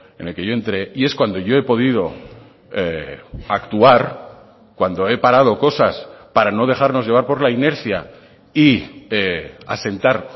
en el que yo entré y es cuando yo he podido actuar cuando he parado cosas para no dejarnos llevar por la inercia y asentar